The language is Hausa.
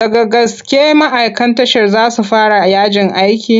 Daga gaske ma'aikan tashar za su fara yajin aiki?